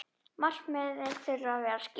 Markmið þurfi að vera skýr.